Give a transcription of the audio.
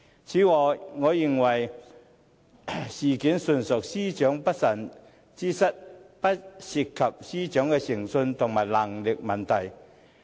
此外，我認為事件純屬司長的不慎之失，不涉及司長的誠信和能力問題。